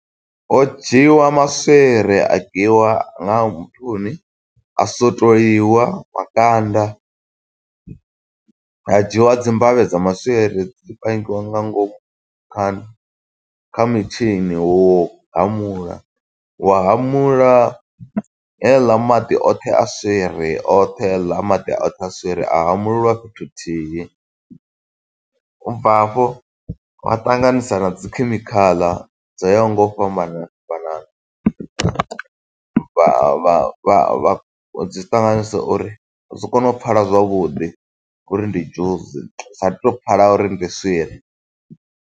Ho dzhiiwa maswiri a kiwa nga muthuni, a swotoliwa makanda. Ha dzhiwa dzi mbavhe dza maswiri dzi pangiwa nga ngomu kha kha mitshini wo u hamula. Wa hamula heiḽa maḓi oṱhe a swiri, oṱhe heiḽa maḓi oṱhe aswiri a hamuleliwa fhethu huthihi. Ubva hafho vha ṱanganisa na dzi khemikhala dzo yaho nga u fhambana fhambanana. Vha vha vha dzi ṱanganisa uri zwi si kone u pfala zwavhuḓi uri ndi dzhusi, sa tu to pfala uri ndi swiri.